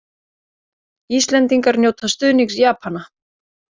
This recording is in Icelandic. Íslendingar njóta stuðnings Japana